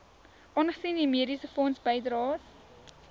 aangesien u mediesefondsbydraes